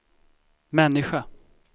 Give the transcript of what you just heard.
människa